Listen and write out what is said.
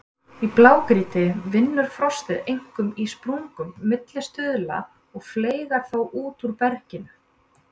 Í blágrýti vinnur frostið einkum í sprungum milli stuðla og fleygar þá út úr berginu.